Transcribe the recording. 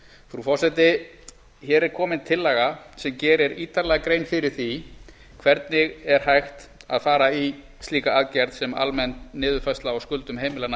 frú forseti hér er komin tillaga sem gerir ítarlega grein fyrir því hvernig er hægt að fara í slíka aðgerð sem almenn niðurfærsla á skuldum heimilanna